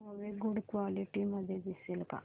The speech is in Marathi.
मूवी गुड क्वालिटी मध्ये दिसेल का